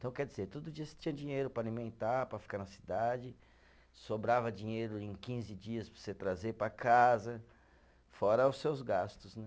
Então, quer dizer, todo dia você tinha dinheiro para alimentar, para ficar na cidade, sobrava dinheiro em quinze dias para você trazer para casa, fora os seus gastos, né?